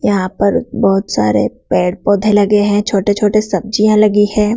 यहां पर बहोत सारे पेड़ पौधे लगे हैं छोटे छोटे सब्जियां लगी है।